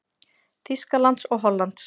Þýskalands og Hollands.